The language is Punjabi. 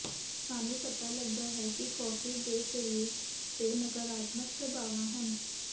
ਸਾਨੂੰ ਪਤਾ ਲੱਗਾ ਹੈ ਕਿ ਕੌਫੀ ਦੇ ਸਰੀਰ ਤੇ ਨਕਾਰਾਤਮਕ ਪ੍ਰਭਾਵਾਂ ਹਨ